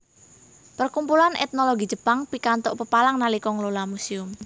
Perkumpulan Etnologi Jepang pikantuk pepalang nalika ngelola muséum